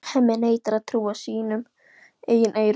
Hemmi neitar að trúa sínum eigin eyrum.